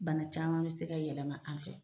Bana caman bɛ se ka yɛlɛma an fɛ.